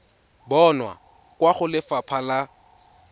bonwa kwa go lefapha la